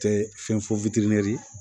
Tɛ fɛn fɔ